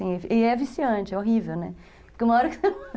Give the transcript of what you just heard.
E é viciante, é horrível, né?